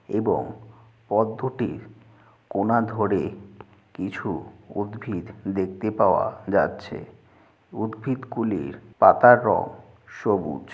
এবং পদ্মটির কোনা ধরে কিছু উদ্ভিদ দেখতে পাওয়া যাচ্ছে । উদ্ভিদগুলির পাতার রং সবুজ।